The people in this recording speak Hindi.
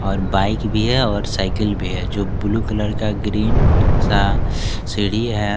और बाइक भी है और साइकिल भी है जो ब्लू कलर का ग्रीन सा सीढ़ी है।